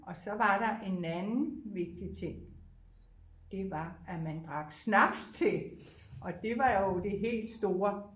Og så var der en anden vigtig ting det var at man drak snaps til og det var jo det helt store